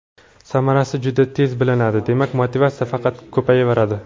Samarasi juda tez bilinadi, demak motivatsiya faqat ko‘payaveradi.